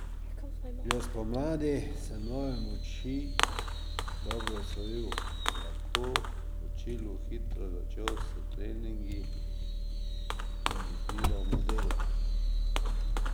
Že spomladi sem nove smuči dobro osvojil in lahko v Čilu hitro začel s treningi in izbiro modelov.